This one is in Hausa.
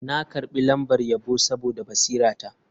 Na karbi lambar yabo saboda basirata.